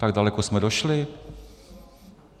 Tak daleko jsme došli?